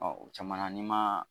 o caman na n'i ma